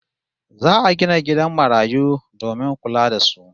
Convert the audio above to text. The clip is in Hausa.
Za'a gina gidan marayu domin kula da su